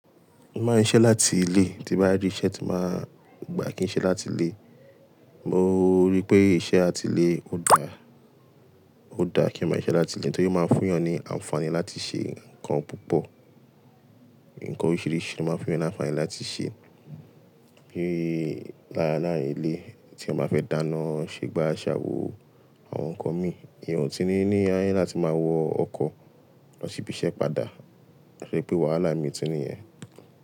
Mo máa ń ṣiṣẹ́ láti ilé, tí bá rí iṣẹ́ tí máa gbà kí n ṣe láti ilé. Mo rí pé iṣẹ́ àti ilé ò dá, ò dá kí eeyan ma siṣẹ láti ilé torí ó máa ń fún eeyan ní àǹfààní láti ṣe nǹkan púpọ̀. Nǹkan oríṣìíríṣìí lo máa ń fún eeyan ní àǹfààní láti ṣe. Bíi lára láàrin ilé tí eeyan ba fẹ́ dáná, ṣé gbá ṣà wò àwọn nǹkan mi, eeyan ti ní ní ayé láti máa wọ ọkọ̀ lọ sí ibi iṣẹ́ padà. To ṣe pé wàhálà mi tun ní yẹn.